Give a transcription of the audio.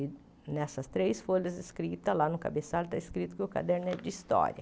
E nessas três folhas escritas, lá no cabeçalho está escrito que o caderno é de história.